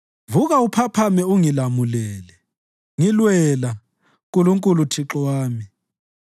Vuka, uphakame ungilamulele! Ngilwela, Nkulunkulu Thixo wami.